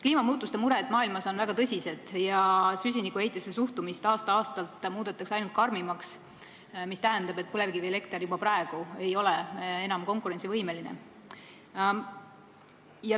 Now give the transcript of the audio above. Kliimamuutuste mured maailmas on väga tõsised ja suhtumist süsinikuheitmetesse muudetakse aasta-aastalt ainult karmimaks, mis tähendab, et põlevkivielekter ei ole juba praegu enam konkurentsivõimeline.